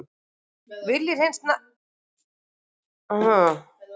Vilja hreins nafn látins manns